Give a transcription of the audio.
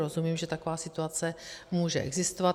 Rozumím, že taková situace může existovat.